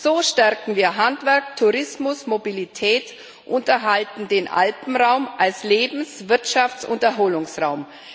So stärken wir Handwerk, Tourismus, Mobilität und erhalten den Alpenraum als Lebens Wirtschafts und Erholungsraum.